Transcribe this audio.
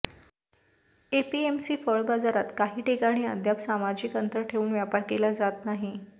APMC फळ बाजारात काही ठिकाणी अद्याप सामाजिक अंतर ठेवून व्यापार केला जात नाही